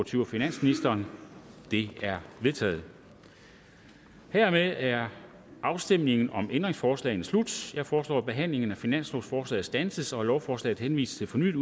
to af finansministeren de er vedtaget hermed er afstemningen om ændringsforslagene slut jeg foreslår at behandlingen af finanslovsforslaget standses og at lovforslaget henvises til fornyet